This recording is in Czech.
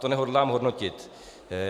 To nehodlám hodnotit.